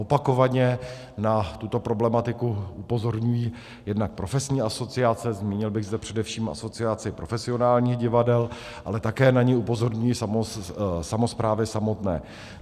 Opakovaně na tuto problematiku upozorňují jednak profesní asociace, zmínil bych zde především Asociaci profesionálních divadel, ale také na ni upozorňují samosprávy samotné.